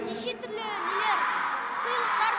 неше түрлі нелер сыйлықтар